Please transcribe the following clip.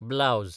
blouse